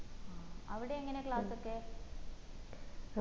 ആ അവിടെ എങ്ങനാ class ഒക്കെ